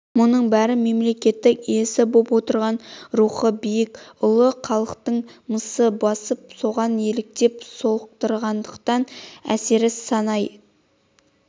бұның бәрін мемлекеттің иесі боп отырған рухы биік ұлы халықтың мысы басып соған еліктеп-солықтағандықтың әсері санайын